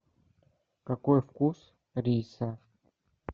какой вкус риса